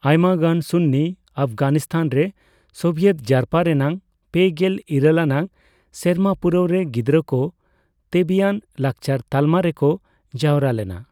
ᱟᱭᱢᱟᱜᱟᱱ ᱥᱩᱱᱱᱤ ᱚᱯᱷᱜᱟᱱᱤᱥᱛᱷᱟᱱ ᱨᱮ ᱥᱳᱵᱤᱭᱮᱛ ᱡᱟᱨᱯᱟ ᱨᱮᱱᱟᱜ ᱯᱮᱜᱮᱞ ᱤᱨᱟᱹᱞ ᱟᱱᱟᱜ ᱥᱮᱨᱢᱟᱯᱩᱨᱟᱹᱣ ᱨᱮ ᱜᱤᱫᱽᱨᱟᱹ ᱠᱚ ᱛᱮᱵᱤᱭᱟᱱ ᱞᱟᱠᱪᱟᱨ ᱛᱟᱞᱢᱟ ᱨᱮᱠᱚ ᱡᱟᱣᱨᱟ ᱞᱮᱱᱟ ᱾